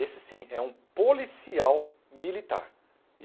Esse sim é um policial militar.